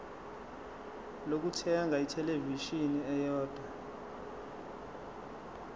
lokuthenga ithelevishini eyodwa